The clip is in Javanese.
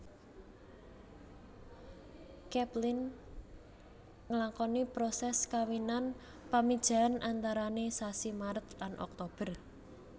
Capelin nglakoni proses kawinan pamijahan antarane sasi Maret lan Oktober